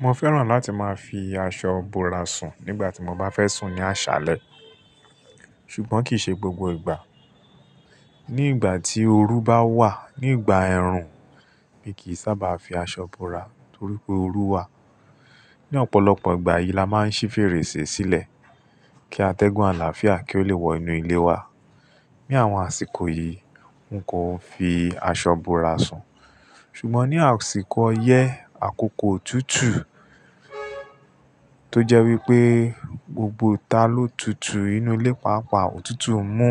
Mo fẹ́ràn láti máa fi aṣọ bora sùn nígbà tí mo bá fẹ́ sùn ní àṣálẹ́. Ṣùgbọ́n kì í ṣe gbogbo ìgbà. Ní ìgbà tí oru bá wà, ní ìgbà ẹ̀rùn, mi kì í sábà fi aṣọ bora torí pé oru wà. Ni ọ̀pọ̀lọpọ̀ ìgbà yìí la máa ń ṣí fèrèsé sílẹ̀ kí a tẹ́gùn àlàáfíà kí ó lè wọ inú ilé wa. Ni àwọn àsìkò yìí, n kò fi aṣọ bora sùn. Ṣùgbọ́n ní àsìkò ọyẹ́, àkókò òtútù, tó jẹ́ wípé gbogbo ta ló tutù inú ilé pàápàá, òtútù mú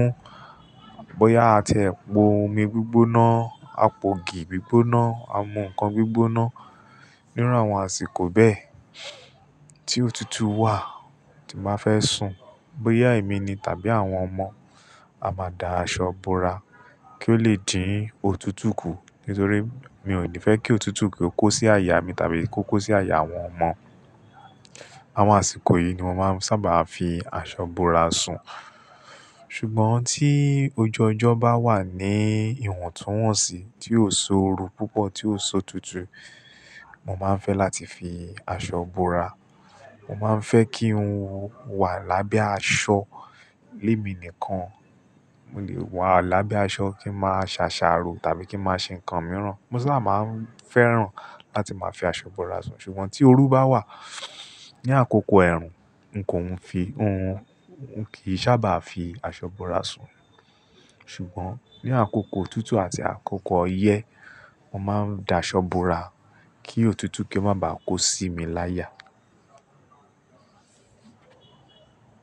bóyá a tẹ po omi gbígbóná, a po ògì gbígbóná, a mu ǹkan gbígbóná, nírú àwọn àsìkò bẹ́ẹ̀ tí òtútù wà tí màá fẹ́ sùn, bóyá èmi ni tàbí àwọn ọmọ, a máa da aṣọ bora kí ó lè dín òtútù kú. Nítorí mi ò ní fẹ́ kí òtútù kí ó kó sí àyà mi tàbí kó kó sí àyà àwọn ọmọ. Àwọn àsìkò yìí ni mo sábà máa ń fi aṣọ bora sùn. Ṣùgbọ́n tí ojú ọjọ́ bá wà ní ìwọ̀ntúnwọ̀nsì tí ò si oru púpọ̀, tí ò si òtutù, mo máa ń fẹ́ láti fi aṣọ bora. Mo máa ń fẹ́ kí ohun wà lábẹ́ aṣọ lé mi nìkan. Ó lè wà lábẹ́ aṣọ kí n máa ṣàṣàro tàbí kí n máa ṣe ǹkan mìíràn. Mo sábà máa ń fẹ́ràn láti máa fi aṣọ bora sùn. Ṣùgbọ́n tí oru bá wà ní àkókò ẹ̀rùn, n kò ń fi, n kì í sábà fi aṣọ bora sùn. Ṣùgbọ́n ní àkókò òtútù àti àkókò ọyẹ́, mo máa ń da aṣọ bora kí òtútù kí ó má bà á kó sí mi láyà.